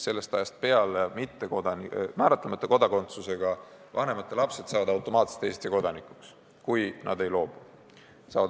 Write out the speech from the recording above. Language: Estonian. Sellest ajast peale saavad määratlemata kodakondsusega vanemate lapsed automaatselt Eesti kodanikuks, kui nad sellest just ei loobu.